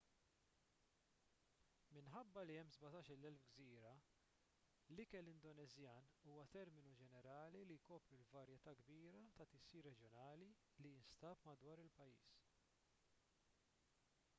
minħabba li hemm 17,000 gżira l-ikel indoneżjan huwa terminu ġenerali li jkopri l-varjetà kbira ta' tisjir reġjonali li jinstab madwar il-pajjiż